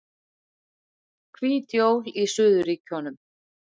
Hvít jól í suðurríkjunum